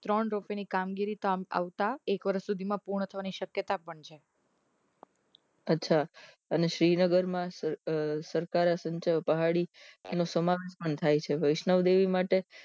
ત્રણ રૂપી ની કામગીરી તો આમ આવતા એક વર્ષ માં પૂર્ણ થવાની શક્યતા પણ છે અચ્છા શ્રીનગર માં સર સરકારે સંચય પહાડી એનું સમાર પણ થાય છે વૈષ્ણોદેવી માટે